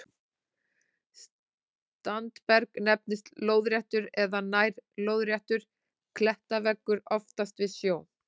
Standberg nefnist lóðréttur eða nær-lóðréttur klettaveggur, oftast við sjó.